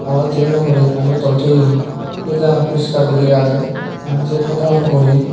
aro tableano ugure pani bodol toyon se jagan puriskar guri age aro se hatan ugure.